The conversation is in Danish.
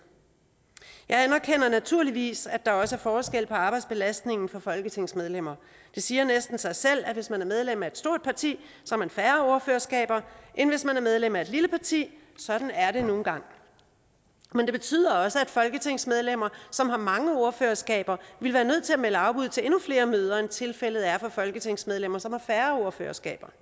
jeg anerkender naturligvis at der også er forskel på arbejdsbelastningen for folketingsmedlemmer det siger næsten sig selv at hvis man er medlem af et stort parti har man færre ordførerskaber end hvis man er medlem af et lille parti sådan er det nu engang men det betyder også at folketingsmedlemmer som har mange ordførerskaber vil være nødt til at melde afbud til endnu flere møder end tilfældet er for folketingsmedlemmer som har færre ordførerskaber